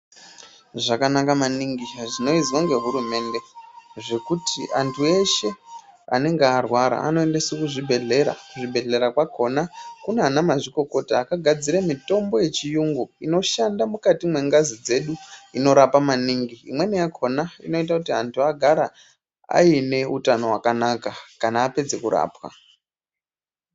Zvakanaka maningi zvinoizwe ngehurumende zvekuti anthu eshe anenga arwara anoendeswa kuzvibhedhlera kuzvibhedhlera zvakona kune ana mazvikokota akagadzira mitombo yechiyungu inoshanda mukati mwengazi dzedu inorapa maningi imweni yakona inoite kuti anthu agare aine utano hwakanaka kana apedza kurapwa.